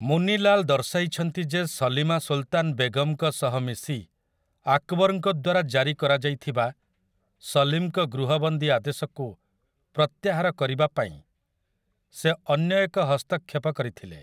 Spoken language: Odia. ମୁନି ଲାଲ୍ ଦର୍ଶାଇଛନ୍ତି ଯେ ସଲୀମା ସୁଲତାନ୍ ବେଗମ୍‌ଙ୍କ ସହ ମିଶି ଆକବର୍‌ଙ୍କ ଦ୍ୱାରା ଜାରି କରାଯାଇଥିବା ସଲିମ୍‌ଙ୍କ ଗୃହବନ୍ଦୀ ଆଦେଶକୁ ପ୍ରତ୍ୟାହାର କରିବା ପାଇଁ ସେ ଅନ୍ୟ ଏକ ହସ୍ତକ୍ଷେପ କରିଥିଲେ ।